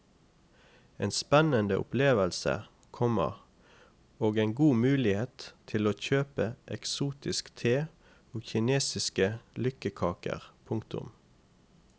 En spennende opplevelse, komma og en god mulighet til å kjøpe eksotisk te og kinesiske lykkekaker. punktum